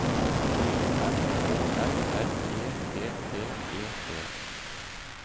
M Å L R E T T E T